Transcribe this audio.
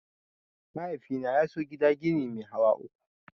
Mahaifina ya so gida gini mai hawa uku.